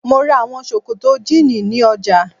Mo ra àwọn sòkòtò jíìnì ní ọjà.